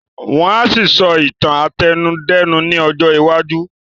Wọ́n á ṣì sọ Ìtàn àtẹnudẹ́nu ní ọjọ́ iwájú